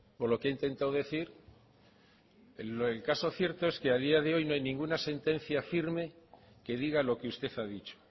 o lo que ha intentado decir el caso cierto es que a día de hoy no hay ninguna sentencia firme que diga lo que usted ha dicho